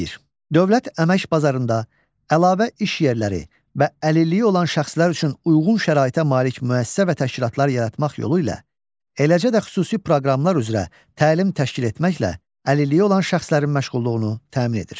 Dövlət əmək bazarında əlavə iş yerləri və əlilliyi olan şəxslər üçün uyğun şəraitə malik müəssisə və təşkilatlar yaratmaq yolu ilə, eləcə də xüsusi proqramlar üzrə təlim təşkil etməklə əlilliyi olan şəxslərin məşğulluğunu təmin edir.